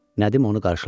Nədim onu qarşıladı.